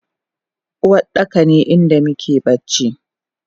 Uwardaka ne inda muke bacci